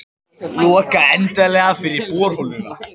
Loka endanlega fyrir borholuna